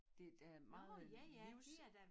Det der meget livs